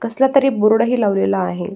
कसला तरी बोर्ड ही लावलेला आहे.